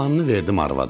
Qalanını verdim arvada.